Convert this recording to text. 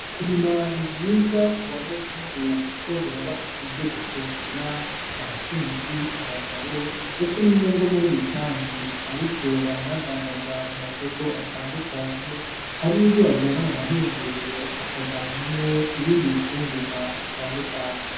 Kurima ni vyiza kubanyagihugu kuko birabaha ivyo gufungura abakenyezi, abagabo ndetse no mungo muri rusangi ariko baranadandaza mu masoko atandukanye harinivyo bajana mu mahinguriro akavanwamwo ibindi bifungugwa bitandukanye.